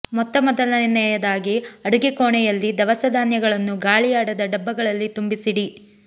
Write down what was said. ಮೊತ್ತ ಮೊದಲನೆಯದಾಗಿ ಅಡುಗೆ ಕೋಣೆಯಲ್ಲಿ ದವಸ ಧಾನ್ಯಗಳನ್ನು ಗಾಳಿಯಾಡದ ಡಬ್ಬಗಳಲ್ಲಿ ತುಂಬಿಸಿಡಿ